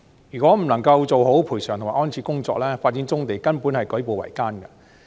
如果不能夠做好賠償及安置的工作，發展棕地根本是舉步維艱。